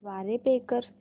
द्वारे पे कर